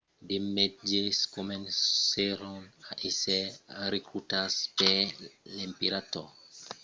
de mètges comencèron a èsser recrutats per l'emperador august e mai formèron lo primièr còs medical roman per emplec aprèp la fin de las batalhas